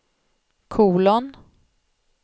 kolon